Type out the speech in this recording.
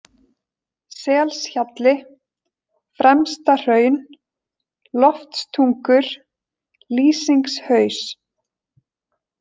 Selshjalli, Fremstahraun, Loftstungur, Lýsingshaus